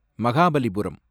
Mahabalipuram